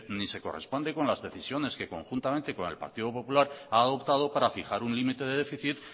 ni se corresponde con las decisiones que conjuntamente con el partido popular ha adoptado para fijar un límite de déficit